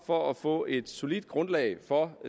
for at få et solidt grundlag for